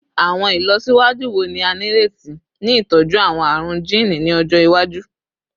Awọn ilọsiwaju wo ni a nireti ni itọju awọn arun jiini ni ọjọ iwaju?